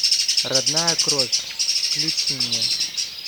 родная кровь включи мне